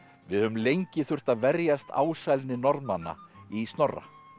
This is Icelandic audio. við höfum lengi þurft að verjast ásælni Norðmanna í Snorra